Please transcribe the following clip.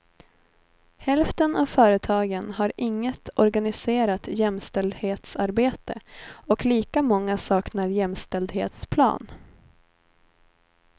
Hälften av företagen har inget organiserat jämställdhetsarbete och lika många saknar jämställdhetsplan.